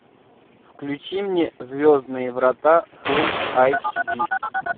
включи мне звездные врата фул айч ди